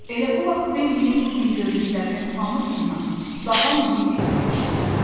Elə bu vaxt Bembinin bu gün gördüklərinin hamısından daha mühüm bir iş oldu.